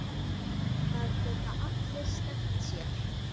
Það geta allir skemmt sér.